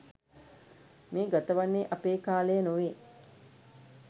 මේ ගතවන්නේ අපේ කාලය නොවේ.